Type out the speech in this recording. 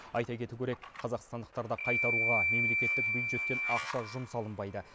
айта кету керек қазақстандықтарды қайтаруға мемлекеттік бюджеттен ақша жұмсалынбайды